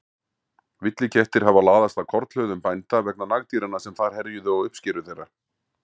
Villikettir hafa laðast að kornhlöðum bænda vegna nagdýranna sem þar herjuðu á uppskeru þeirra.